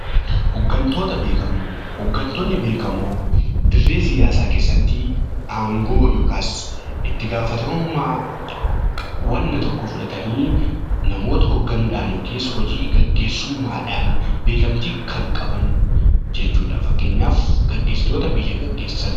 Hooggantoonni beekamoo dirree siyaasaa keessatti aangoo yookaan itti gaafatamummaa wanta tokkoo fudhatanii namoota hoogganuudhaan yookiin hojii gaggeessummaadhaan beekamtii kan qaban jechuudha. Fakkeenyaaf gaggeessitoota biyya gaggeessan.